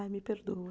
Ai, me perdoa.